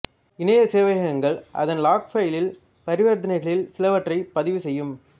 இணையச் சேவையகங்கள் அதன் லாக்ஃபைலில் பரிவரித்தனைகளில் சிலவற்றைப் பதிவு செய்யும்